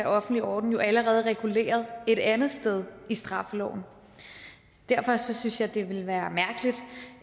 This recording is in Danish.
offentlige orden jo allerede reguleret et andet sted i straffeloven derfor synes jeg det ville være mærkeligt